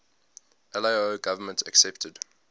lao government accepted